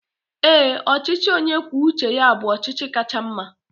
Ee, ọchịchị onye kwuo uche ya bụ ọchịchị kacha mma